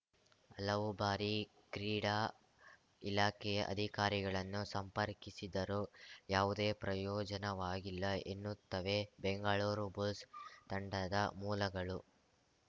ಹಲವು ಬಾರಿ ಕ್ರೀಡಾ ಇಲಾಖೆಯ ಅಧಿಕಾರಿಗಳನ್ನು ಸಂಪರ್ಕಿಸಿದರೂ ಯಾವುದೇ ಪ್ರಯೋಜನವಾಗಿಲ್ಲ ಎನ್ನುತ್ತವೆ ಬೆಂಗಳೂರು ಬುಲ್ಸ್‌ ತಂಡದ ಮೂಲಗಳು